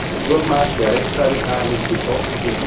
Der Durchmarsch der Rechtsradikalen ist gestoppt